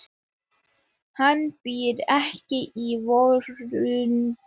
Hann býr ekki í veröldinni.